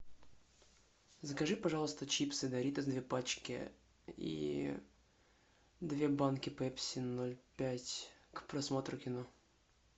закажи пожалуйста чипсы доритос две пачки и две банки пепси ноль пять к просмотру кино